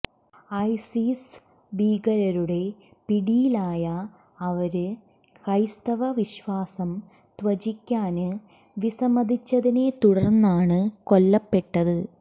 ISIS ഭീകരരുടെ പിടിയിലായ അവര് ക്രൈസ്തവവിശ്വാസം ത്യജിക്കാന് വിസമ്മതിച്ചതിനെ തുടര്ന്നാണ് കൊല്ലപ്പെട്ടത്